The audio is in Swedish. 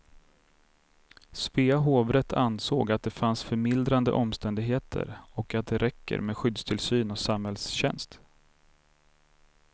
Svea hovrätt ansåg att det fanns förmildrande omständigheter och att det räcker med skyddstillsyn och samhällstjänst.